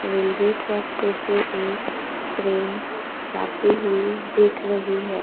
Railway track पे से एक ट्रेन जाते हुए दिख रही है।